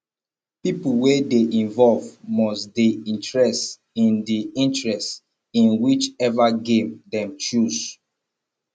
pipo wey de involve must de interest in de interest in which ever game them choose